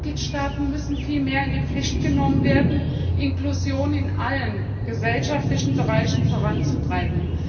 Die Mitgliedstaaten müssen viel mehr in die Pflicht genommen werden, Inklusion in allen gesellschaftlichen Bereichen voranzutreiben.